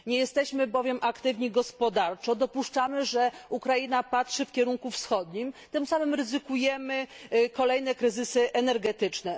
Nie jesteśmy bowiem aktywni gospodarczo, dopuszczamy, że Ukraina patrzy w kierunku wschodnim, tym samym ryzykujemy kolejne kryzysy energetyczne.